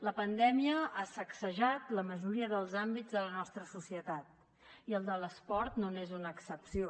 la pandèmia ha sacsejat la majoria dels àmbits de la nostra societat i el de l’esport no n’és una excepció